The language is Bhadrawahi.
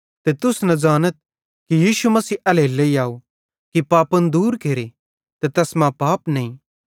ते तुस ज़ानतथ कि यीशु मसीह एल्हेरेलेइ आव कि पापन दूर केरे ते तैस मां पाप नईं